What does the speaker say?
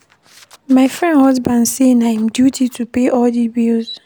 My friend husband say na im duty to pay all di bills.